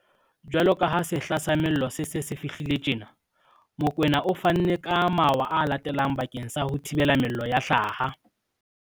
Jwaloka ha sehla sa mello se se se fihlile tjena, Mokoena o fanne ka mawa a latelang bakeng sa ho thibela mello ya hlaha.